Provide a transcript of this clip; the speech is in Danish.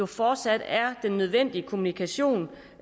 fortsat er den nødvendige kommunikation